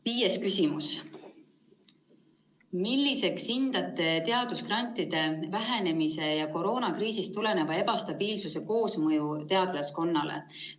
Viies küsimus: "Milliseks hindate teadusgrantide vähenemise ja koroonakriisist tuleneva ebastabiilsuse koosmõju teadlaskonnale?